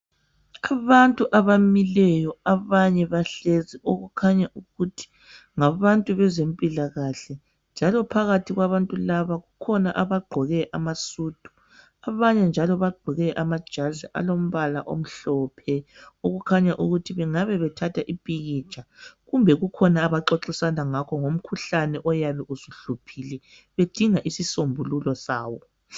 Abantu abamileyo abanye bahlezi okukhanya ukuthi ngabantu abezempilakahle njalo phakathi kwabantu laba ukhona ogqoke amasudu abanye njalo bagqoke amajazi alombala omhlophe okukhanya ukuthi bengabe bethatha umpikitsha kumbe kukhona abangabe bexoxisana ngakho ngokhuhlane oyabe usuhluphile bedinga isisombulo sawo